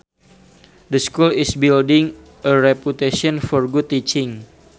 The school is building a reputation for good teaching